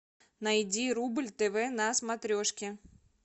найди рубль тв на смотрешке